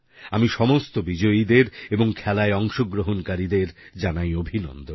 আমি সমস্ত বিজয়ীদের এবং খেলায় অংশগ্রহণকারীদের জানাই অভিনন্দন